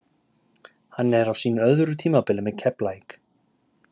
Hann er á sínu öðru tímabili með Keflavík.